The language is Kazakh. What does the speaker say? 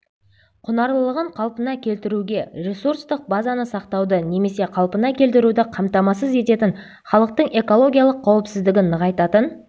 құнарлылығын қалпына келтіруге ресурстық базаны сақтауды немесе қалпына келтіруді қамтамасыз ететін халықтың экологиялық қауіпсіздігін нығайтатын